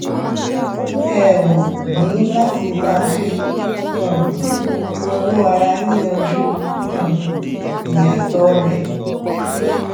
ẹ óò ní láti máa fi um owó ara yín yanjú um ìyàtọ rè